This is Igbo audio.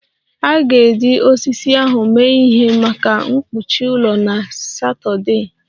A ga-eji osisi ahụ mee ihe maka mkpuchi ụlọ na Satọdee